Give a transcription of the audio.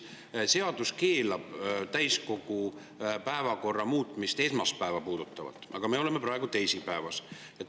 Seadus keelab täiskogu päevakorda muuta esmaspäeva puudutavalt, aga me oleme praegu teisipäevas.